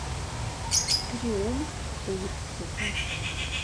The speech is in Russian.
триумф отзывы